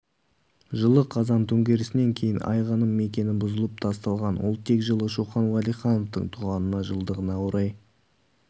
жылы қазан төңкерісінен кейін айғаным мекені бұзылып тасталған ол тек жылы шоқан уәлихановтың туғанына жылдығына орай